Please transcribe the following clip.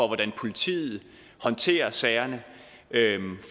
hvordan politiet håndterer sagerne